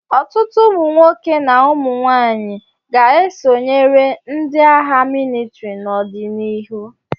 Ọtụtụ ụmụ nwoke na ụmụ nwaanyị ga-esonyere ndị agha mịlịtrị n'ọdịnihu.